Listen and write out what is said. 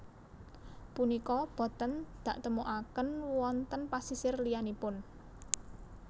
Punika boten daktemukaken wonten pasisir liyanipun